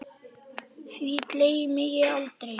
Því gleymi ég aldrei.